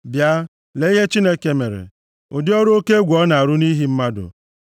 Bịa lee ihe Chineke mere, ụdị ọrụ oke egwu ọ na-arụ nʼihi mmadụ!